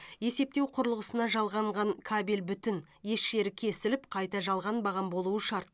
есептеу құрылғысына жалғанған кабель бүтін еш жері кесіліп қайта жалғанбаған болуы шарт